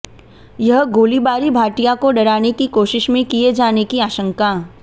यह गोलीबारी भाटिया को डराने की कोशिश में किए जाने की आशंका